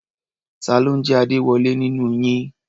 Ta ló ń jẹ́ Adéwọlé nínú yín?